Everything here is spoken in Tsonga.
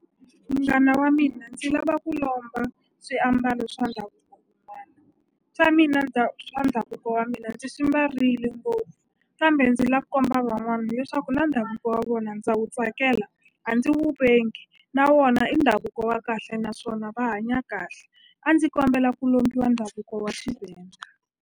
Munghana wa mina ndzi lava ku lomba swiambalo swa ndhavuko swa mina swa ndhavuko wa mina ndzi swi mbarile ngopfu kambe ndzi la ku komba van'wani leswaku na ndhavuko wa vona ndza wu tsakela a ndzi wu vengi na wona i ndhavuko wa kahle naswona va hanya kahle a ndzi kombela ku lombiwa ndhavuko wa Xivenda.